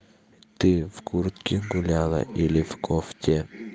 ты в куртке гуляла или в кофте